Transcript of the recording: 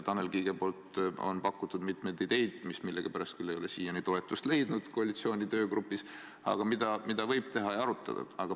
Tanel Kiik on pakkunud mitmeid ideid, mis millegipärast küll ei ole siiani koalitsiooni töögrupis toetust leidnud, aga mida võib arutada.